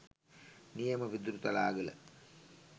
නියම පිදුරුතලාගල